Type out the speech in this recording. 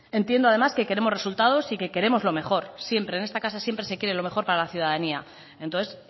entiendo además que queremos resultados y que queremos lo mejor siempre en esta casa siempre se quiere lo mejor para la ciudadanía entonces